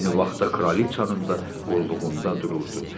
Eyni vaxtda kraliçanın da qulluğunda dururdu.